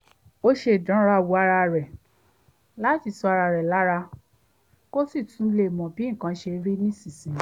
ó ṣeré ìdánrawò ara rẹ̀ láti tu ara rẹ̀ lára kó sì tún lè mọ̀ bí nǹkan ṣe rí nísinsìnyí